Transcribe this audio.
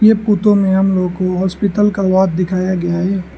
ये फोटो में हम लोगों को हॉस्पिटल का वार्ड दिखाया गया है।